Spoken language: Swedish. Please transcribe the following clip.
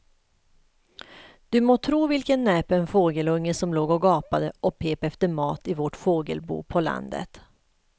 Du må tro vilken näpen fågelunge som låg och gapade och pep efter mat i vårt fågelbo på landet.